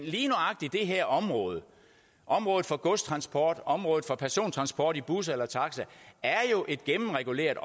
lige nøjagtig det her område området for godstransport området for persontransport i bus eller taxa er jo gennemreguleret